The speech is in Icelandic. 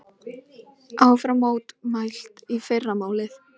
Áfram mótmælt í fyrramálið